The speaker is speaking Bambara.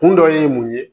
Kun dɔ ye mun ye